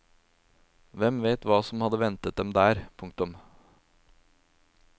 Hvem vet hva som hadde ventet dem der. punktum